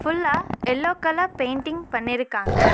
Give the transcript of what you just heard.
ஃபுல்லா yellow colour painting பண்ணிருக்காங்க.